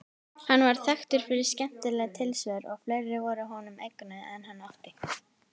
Hann var þekktur fyrir skemmtileg tilsvör og fleiri voru honum eignuð en hann átti.